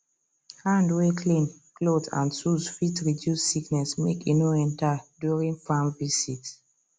hand way clean clothes and tools fit reduce disease make e no enter during farm visit